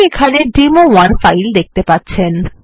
আপনি এখানে demo one file দেখতে পাচ্ছেন